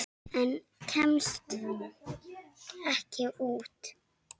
En kemst ekki út.